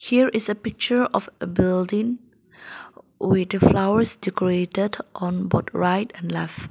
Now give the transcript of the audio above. here is a picture of a building with flowers decorated on both right and left.